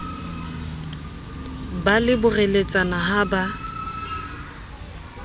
ba le boreletsana ha ba